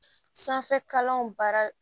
Sanfɛkalanw baara